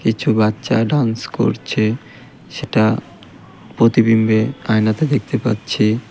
কিছু বাচ্চা ডান্স করছে সেটা প্রতিবিম্বে আয়নাতে দেখতে পাচ্ছি.